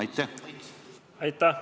Aitäh!